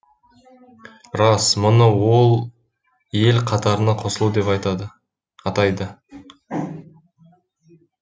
рас мұны ол ел қатарына қосылу деп атайды